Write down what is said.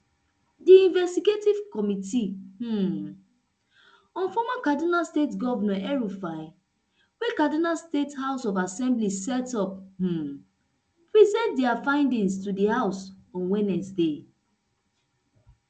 di investigative committee um on former kaduna state govnor elrufai wey kaduna state house of assembly set up um present dia findings to di house on wednesday